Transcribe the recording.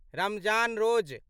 Ramzan रोज